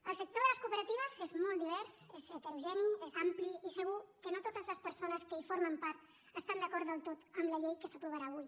el sector de les cooperatives és molt divers és heterogeni és ampli i segur que no totes les persones que en formen part estan d’acord del tot amb la llei que s’aprovarà avui